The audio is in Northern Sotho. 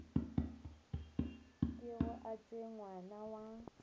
kego a tšwe ngwana wa